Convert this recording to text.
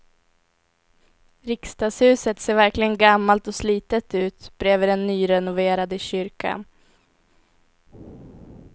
Riksdagshuset ser verkligen gammalt och slitet ut bredvid den nyrenoverade kyrkan.